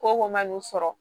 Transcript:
Ko ko man n'u sɔrɔ